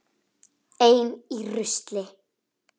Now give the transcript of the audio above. Ein í rusli.